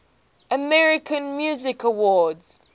american music awards